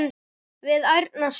við ærna sút.